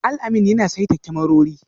Alamin yana saita kyamarori